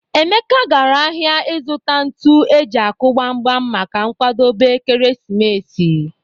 Emeka gara ahia ịzụta ntụ eji akụ gbam gbam maka nkwadobe ekeresimesi.